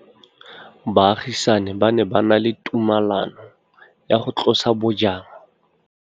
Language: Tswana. Baagisani ba ne ba na le tumalanô ya go tlosa bojang.